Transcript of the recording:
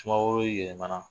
Sumaworo yɛlɛmana.